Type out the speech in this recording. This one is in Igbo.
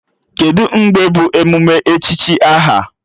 Kedụ mgbe bụ emume echichi aha?